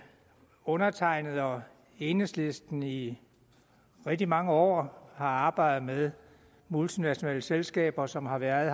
undertegnede og enhedslisten i rigtig mange år har arbejdet med multinationale selskaber som har været